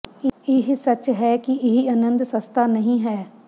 ਇਹ ਸੱਚ ਹੈ ਕਿ ਇਹ ਅਨੰਦ ਸਸਤਾ ਨਹੀਂ ਹੈ